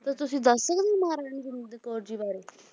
ਤੇ ਤੁਸੀਂ ਦੱਸ ਸਕਦੇ ਹੋ ਮਹਾਰਾਣੀ ਜਿੰਦ ਕੌਰ ਜੀ ਬਾਰੇ